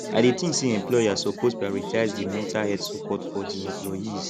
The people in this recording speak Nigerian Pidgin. i dey think say employers suppose prioritize di mental health supoort for di employees